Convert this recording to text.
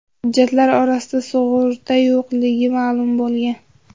Hujjatlar orasida sug‘urta yo‘qligi ma’lum bo‘lgan.